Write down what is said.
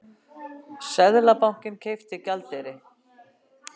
Seðlabankinn keypti gjaldeyri